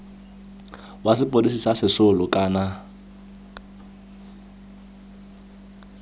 wa sepodisi sa sesole kana